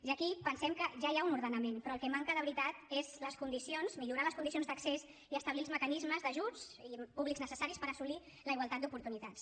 i aquí pensem que ja hi ha un ordenament però el que manca de veritat són les condicions millorar les condicions d’accés i establir els mecanismes d’ajuts públics necessaris per assolir la igualtat d’oportunitats